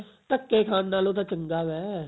ਧੱਕੇ ਖਾਨ ਨਾਲੋ ਤਾਂ ਚੰਗਾ ਵੈ